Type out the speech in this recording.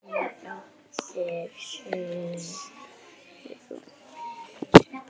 Þín dóttir, Sigrún.